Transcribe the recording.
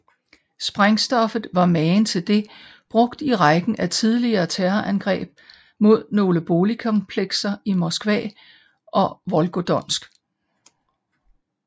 Sprængstoffet var magen til det brugt i rækken af tidligere terrorangreb mod nogle boligkomplekser i Moskva og Volgodonsk